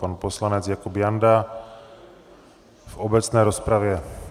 Pan poslanec Jakub Janda v obecné rozpravě.